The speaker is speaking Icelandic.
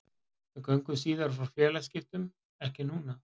Við göngum síðar frá félagaskiptum, ekki núna.